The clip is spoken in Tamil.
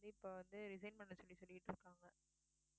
இப்ப வந்து resign பண்ண சொல்லி சொல்லிட்டு இருக்காங்க.